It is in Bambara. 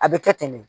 A bɛ kɛ ten de